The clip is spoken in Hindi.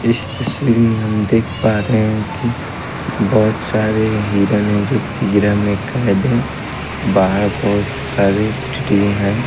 इस तस्वीर में हम देख पा रहे हैं कि बहुत सारे हिरण हैं जो पिंजरा में कैद हैं बाहर बहुत सारे ट्री हैं।